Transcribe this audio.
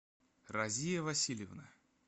разия васильевна